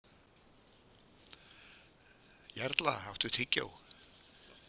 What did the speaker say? Jarla, áttu tyggjó?